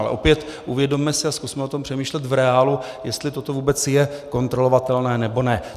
Ale opět, uvědomme si a zkusme o tom přemýšlet v reálu, jestli toto vůbec je kontrolovatelné, nebo ne.